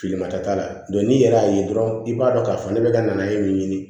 Filimata t'a la n'i yɛrɛ y'a ye dɔrɔn i b'a dɔn k'a fɔ ne bɛ ka nana ye min ɲini